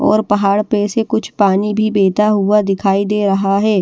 और पहाड़ पे से कुछ पानी भी बहता हुआ दिखाई दे रहा है।